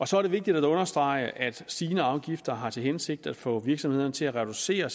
så er det vigtigt at understrege at stigende afgifter har til hensigt at få virksomhederne til at reducere